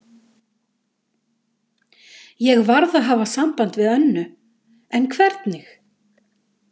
Ég varð að hafa samband við Önnu, en hvernig?